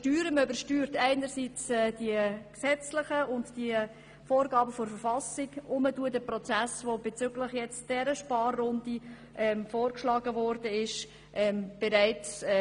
Man würde sowohl die gesetzlichen und verfassungsmässigen Vorgaben wie auch den Prozess, der bezüglich der aktuellen Sparrunde vorgeschlagen wurde, übersteuern.